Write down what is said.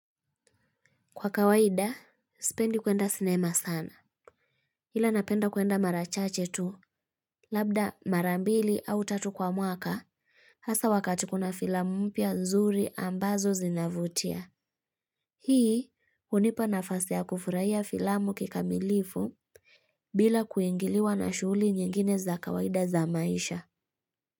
Kwa kawaida, sipendi kwenda sinema sana. Ila napenda kuenda mara chache tu, labda mara mbili au tatu kwa mwaka, hasa wakati kuna filamu mpya nzuri ambazo zinavutia. Hii, hunipa nafasi ya kufurahia filamu kikamilifu bila kuingiliwa na shughuli nyingine za kawaida za maisha.